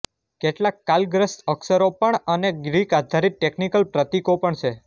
કેટલાક કાલગ્રસ્ત અક્ષરો પણ અને ગ્રીક આધારિત ટેકિનિકલ પ્રતીકો પણ છે